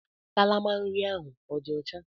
Kalama nri ahụ ọ dị ọcha?